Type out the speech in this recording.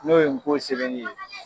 N'o ye ngo sɛbɛnni ye.